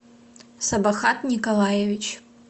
сабахат николаевич